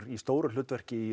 í stóru hlutverki í